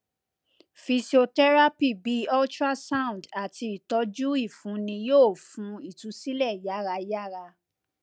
physiotherapy bi ultrasound ati itọju ifunni yoo fun itusilẹ yarayara